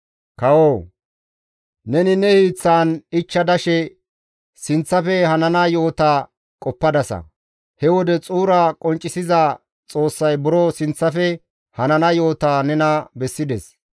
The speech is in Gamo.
«Kawoo! Neni ne hiiththan ichcha dashe sinththafe hanana yo7ota qoppadasa; he wode xuura qonccisiza Xoossay buro sinththafe hanana yo7ota nena bessides.